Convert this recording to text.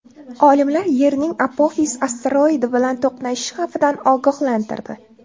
Olimlar Yerning Apofis asteroidi bilan to‘qnashish xavfidan ogohlantirdi.